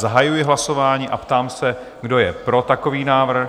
Zahajuji hlasování a ptám se, kdo je pro takový návrh?